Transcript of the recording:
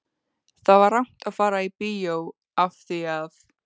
Það var rangt að fara í bíó af því að